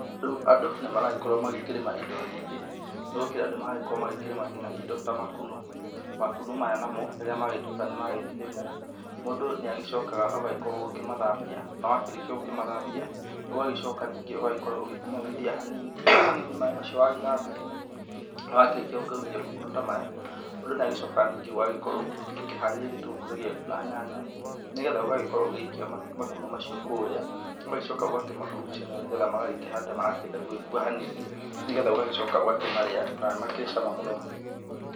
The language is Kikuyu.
Rĩu andũ nimaragĩkorwo magĩkĩrima indo nyingĩ. Nĩgũkĩrĩ andũ maragĩkorwo makĩrĩma nginya indo ta makunũ. Makunũ maya namo rĩrĩa magĩtuĩkaga nĩmagĩkĩrĩmwa, mũndũ nĩ agĩcokaga agĩũka gũkĩmathambia, na wakĩrĩkia gũkĩmathambia ũgagĩcoka ningĩ ũgakorwo ũkĩmomithia hanini hanini maĩ macio wagĩthambia. Wakĩrĩkia gũkĩũmithia makunũ ta maya mũndũ nĩ agĩkoragwo ningĩ agíkĩharĩria gĩtũngũrũ gĩaku na nyanya, nĩgetha ũgagĩkorwo ũgĩikia makunũ macio kũrĩa. Ũgagĩcoka ũgakĩmakurugucania nĩgetha magakĩhana ta marenda gũkua hanini. Nĩgetha ũgagĩcoka ũkamarĩa, na nĩ makĩrĩ na cama mũno.